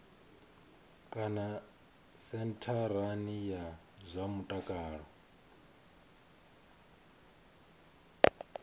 kana sentharani ya zwa mutakalo